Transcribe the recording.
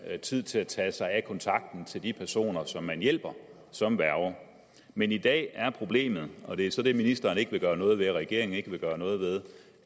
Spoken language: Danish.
tid til at tage sig af kontakten til de personer som man hjælper som værge men i dag er problemet og det er så det ministeren ikke vil gøre noget ved regeringen ikke vil gøre noget ved